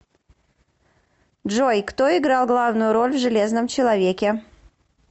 джой кто играл главную роль в железном человеке